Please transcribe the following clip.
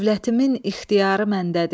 Dövlətimin ixtiyarı məndədir.